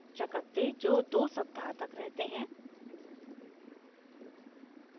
चकत्ते जो 2 सप्ताह तक रहते हैं